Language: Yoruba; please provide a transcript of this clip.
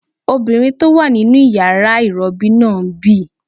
Obìnrin tó wà nínu yàrá ìrọbí náà ń bì